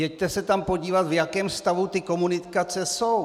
Jeďte se tam podívat, v jakém stavu ty komunikace jsou!